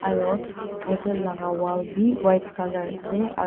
aro hotel laga wall bi white colour ase ar--